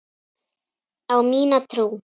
Á mína trú.